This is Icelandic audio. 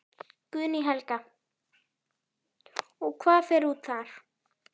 Guðný Helga: Og hvað fer út þar?